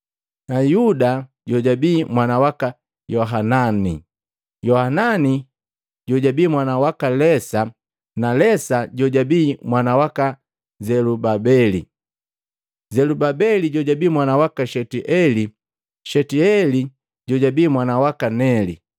Yuda jojabi mwana waka Yohanani, Yohanani jojabii mwana waka Lesa, Lesa jojabii mwana waka Zelubabeli, Zelubabeli jojabii mwana waka Shetieli, Shetieti jojabii mwana waka Neli,